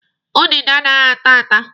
Udide anaghị ata ata.